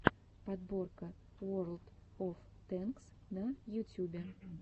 подборка уорлд оф тэнкс на ютюбе